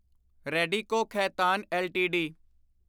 Radico Khaitan LTD